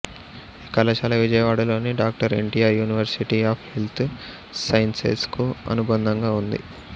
ఈ కళాశాల విజయవాడలోని doctor NTR university of health sciences కు అనుబంధంగా ఉంది